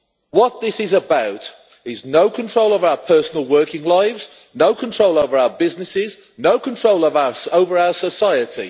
What this is about is no control of our personal working lives, no control over our businesses, no control of us over our society.